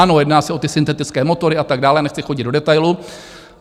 Ano, jedná se o ty syntetické motory a tak dále, nechci chodit do detailu.